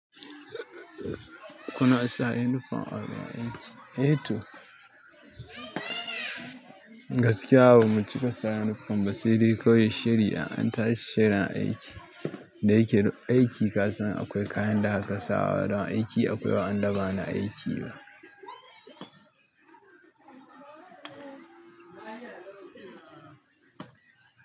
Kuna sa uniform a gurin aiki. E to. Gaskiya bamu cika sa uniform ba se dai kawai shiri in an tashi shirin aiki. Da yake aiki ka san akwai kayan da aka sawa don aiki, akwai wa an ba na aiki ba.